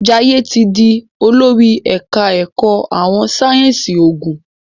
Jaiye tí dì olórí ẹka ẹkọ àwọn sáyẹnsì oògùn.